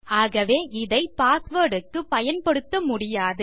ஆகவே இதை பாஸ்வேர்ட் க்கு பயன்படுத்த முடியாது